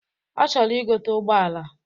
Ọ chọrọ igote ụgbọala.